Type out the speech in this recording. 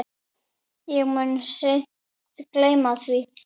Ég mun seint gleyma því.